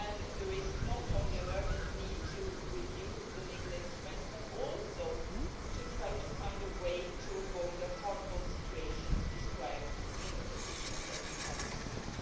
There is not only an urgent need to review the legal instruments, but also to try to find a way to avoid the harmful situations described in the petitions that we have received.